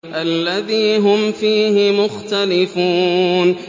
الَّذِي هُمْ فِيهِ مُخْتَلِفُونَ